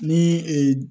Ni